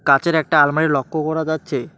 কাঁচের একটা আলমারি লক্ষ করা যাচ্ছে।